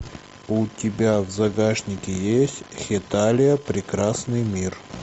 у тебя в загашнике есть хеталия прекрасный мир